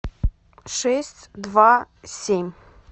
шесть два семь